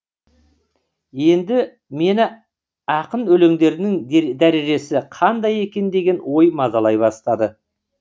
енді мені ақын өлеңдерінің дәрежесі қандай екен деген ой мазалай бастады